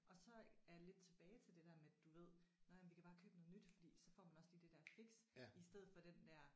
Og så er jeg lidt tilbage til det der med du ved nej men vi kan bare købe noget nyt fordi så får man også lige det der fix i stedet for den der